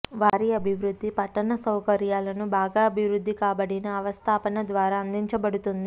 వారి అభివృద్ధి పట్టణ సౌకర్యాలను బాగా అభివృద్ధి కాబడిన అవస్థాపన ద్వారా అందించబడుతుంది